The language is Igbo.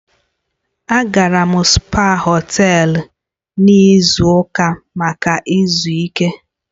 Agara m spaa họtel n'izu ụka maka izu ike.